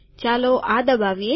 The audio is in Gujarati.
ચાલો આ દબાવીએ